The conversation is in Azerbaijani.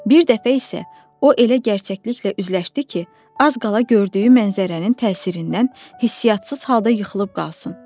Bir dəfə isə o elə gerçəkliklə üzləşdi ki, az qala gördüyü məzərənin təsirindən hissiyatsız halda yıxılıb qalsın.